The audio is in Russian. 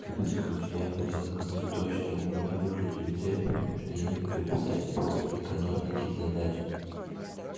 капец короче я хотел сказать то что у меня выключили свет потому что я не хотел писать по экономике задач